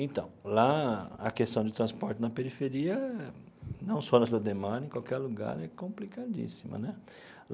Então, lá a questão de transporte na periferia, não só na cidade Ademar, em qualquer lugar, é complicadíssima né.